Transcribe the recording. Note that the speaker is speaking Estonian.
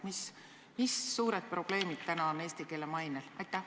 Mis suured probleemid on praegu eesti keele mainega?